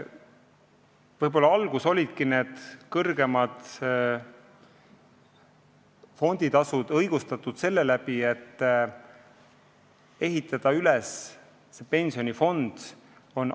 Võib-olla alguses olidki need kõrgemad fonditasud õigustatud seetõttu, et oli vaja pensionifond üles ehitada.